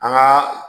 An ka